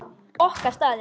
Okkar staður.